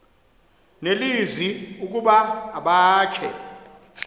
nelizwi ukuba abakhe